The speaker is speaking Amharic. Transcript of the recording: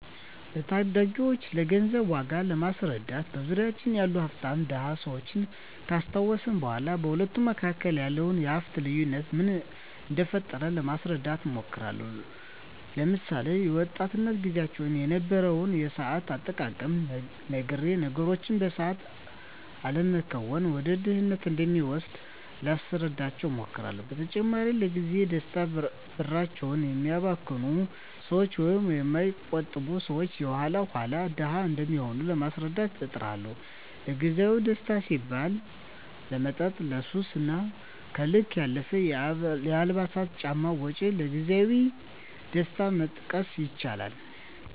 ለታዳጊወች ስለገንዘብ ዋጋ ለማስረዳት በዙሪያችን ያሉ ሀፍታምና ድሀ ሰወችን ካስታወስኳቸው በኋ በሁለቱ መካከል ያለውን የሀፍት ልዮነት ምን እደፈጠረው ለማስረዳት እሞክራለሁ። ለምሳሌ፦ በወጣትነት ግዚያቸው የነበረውን የሰአት አጠቃቀም ነግሬ ነገሮችን በሰአት አለመከወን ወደ ድህነት እንደሚወስድ ላስረዳቸው እሞክራለው። በተጨማሪም ለግዚያዊ ደስታ ብራቸውን የሚያባክኑ ሰወች ወይም የማይቆጥቡ ሰወች የኋላ ኋላ ድሀ እንደሚሆኑ ለማስረዳት እጥራለሁ። ለግዜአዊ ደስታ ሲባል ለመጠጥ፣ ለሱስ እና ከልክ ያለፈ የአልባሳትና ጫማ ወጭ ከግዜያዊ ደስታ መጠቀስ ይችላሉ።